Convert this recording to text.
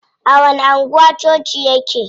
A wani anguwa coci yake?